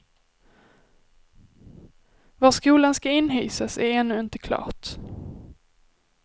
Var skolan ska inhysas är ännu inte klart.